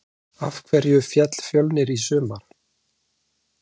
Af hverju féll Fjölnir í sumar?